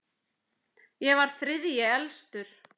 Ég var þriðji elstur.